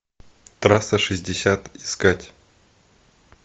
трасса шестьдесят искать